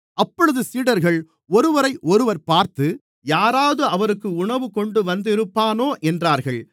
அப்பொழுது சீடர்கள் ஒருவரையொருவர் பார்த்து யாராவது அவருக்கு உணவுகொண்டுவந்திருப்பானோ என்றார்கள்